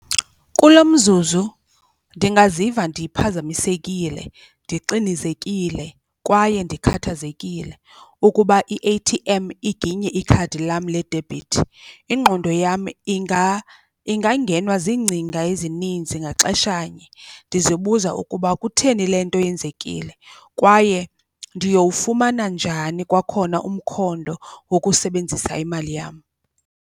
Kulo mzuzu ndingaziva ndiphazamisekile ndixinizekile kwaye ndikhathazekile ukuba i-A_T_M iginye ikhadi lam ledebhithi. Ingqondo yam ingangenwa ziingcinga ezininzi ngaxeshanye ndizibuza ukuba kutheni le nto yenzekile kwaye ndiyowufumana njani kwakhona umkhondo wokusebenzisa imali yam.